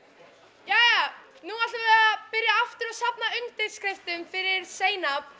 jæja nú ætlum við að byrja aftur að safna undirskriftum fyrir Zainab